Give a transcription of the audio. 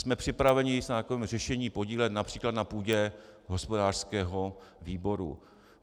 Jsme připraveni se na takovém řešení podílet například na půdě hospodářského výboru.